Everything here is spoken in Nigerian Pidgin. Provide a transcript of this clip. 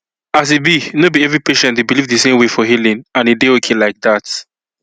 as e be no be every patient dey believe the same way for healing and e dey okay like that